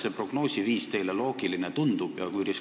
Kui loogiline ja riskantne see prognoosiviis teile tundub?